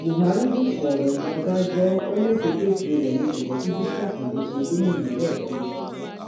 buhari jukọ ọrọ lu ọbànjọ ó lẹtẹkẹtẹ rẹ um ni kò jẹ kí bisi akande ṣe um gómìnà lẹẹkejì